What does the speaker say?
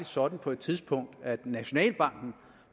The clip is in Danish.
sådan på et tidspunkt at nationalbanken